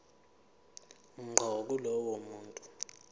ngqo kulowo muntu